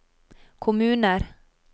kommuner